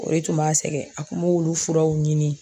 O de tun b'a sɛgɛn a kun b'olu furaw ɲini